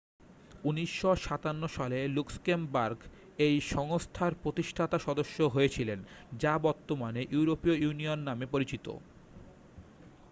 1957 সালে লুক্সেমবার্গ এই সংস্থার প্রতিষ্ঠাতা সদস্য হয়েছিলেন যা বর্তমানে ইউরোপীয় ইউনিয়ন নামে পরিচিত